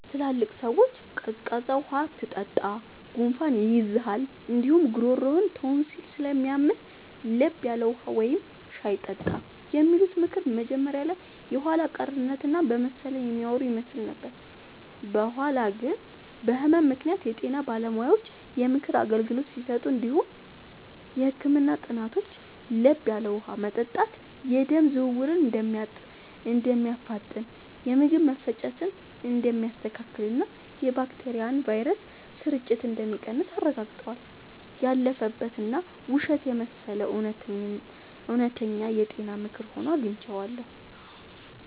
ትላልቅ ሰዎች “ቀዝቃዛ ውሃ አትጠጣ፣ ጉንፋን ይይዝሃል እንዲሁም ጉሮሮህን ቶንሲል ስለሚያምህ፤ ለብ ያለ ውሃ ወይም ሻይ ጠጣ” የሚሉት ምክር መጀመሪያ ላይ የኋላ ቀርነት እና በመሰለኝ የሚያወሩ ይመስል ነበር። በኋላ ግን በህመም ምክንያት የጤና ባለሙያዎች የምክር አገልግሎት ሲሰጡ እንዲሁም የህክምና ጥናቶች ለብ ያለ ውሃ መጠጣት የደም ዝውውርን እንደሚያፋጥን፣ የምግብ መፈጨትን እንደሚያስተካክልና የባክቴሪያና ቫይረስ ስርጭትን እንደሚቀንስ አረጋግጠዋል። ያለፈበት እና ውሸት የመሰለው እውነተኛ የጤና ምክር ሆኖ አግኝቼዋለሁ።